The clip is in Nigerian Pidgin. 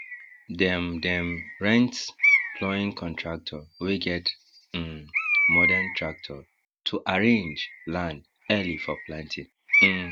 dem dem rent ploughing contractor wey get um modern tractor to arraange land early for planting um